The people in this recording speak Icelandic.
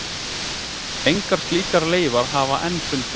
Engar slíkar leifar hafa enn fundist.